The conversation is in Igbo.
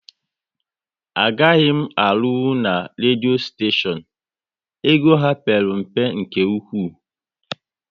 Agaghị m arunwu na redio steshion, ego ha père mpe nke ụkwụ